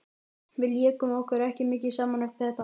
Við lékum okkur ekki mikið saman eftir þetta.